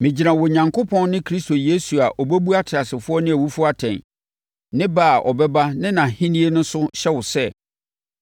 Megyina Onyankopɔn ne Kristo Yesu a ɔbɛbu ateasefoɔ ne awufoɔ atɛn, ne ba a ɔbɛba ne nʼahennie no so hyɛ wo sɛ,